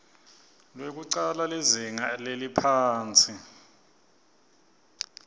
lwekucala lizinga leliphansi